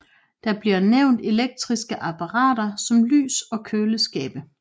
Der bliver nævnt elektriske apparater som lys og køleskabe